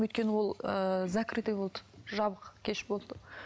өйткені ол ыыы закрытый болды жабық кеш болды